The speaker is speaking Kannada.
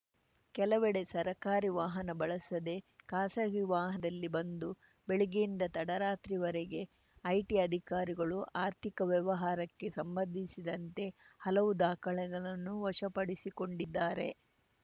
ಕೆಲವೆಡೆ ಸರ್ಕಾರಿ ವಾಹನ ಬಳಸದೆ ಖಾಸಗಿ ವಾಹನದಲ್ಲಿ ಬಂದು ಬೆಳಗ್ಗೆಯಿಂದ ತಡರಾತ್ರಿವರೆಗೆ ಐಟಿ ಅಧಿಕಾರಿಗಳು ಆರ್ಥಿಕ ವ್ಯವಹಾರಕ್ಕೆ ಸಂಬಂಧಿಸಿದಂತೆ ಹಲವು ದಾಖಲೆಗಳನ್ನು ವಶಪಡಿಸಿಕೊಂಡಿದ್ದಾರೆ